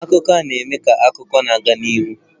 Akụkọ a na-eme ka akụkọ na-aga n'ihu.